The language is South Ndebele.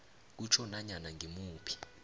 kutjho nanyana ngimuphi